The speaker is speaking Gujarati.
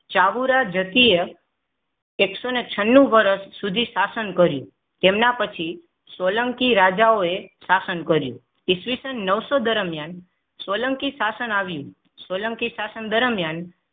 ચાવુરા જકીય એકસો ને છનનું વર્ષ સુધી શાસન કર્યું. તેમના પછી સોલંકી રાજાઓએ શાસન કર્યું. ઇસવીસન નવસો દરમિયાન સોલંકી શાસન આવ્યું સોલંકી શાસન દરમિયાન